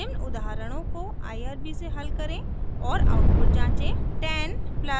निम्न उदाहरणों को irb से हल करें और आउटपुट जाँचें